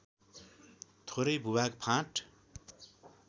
थोरै भूभाग फाँट